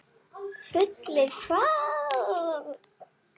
Fullir hvað.!?